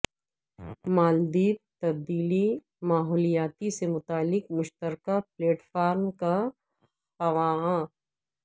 مالدیپ تبدیلی ماحولیات سے متعلق مشترکہ پلیٹ فارم کا خواہاں